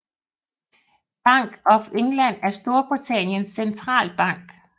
Bank of England er Storbritanniens centralbank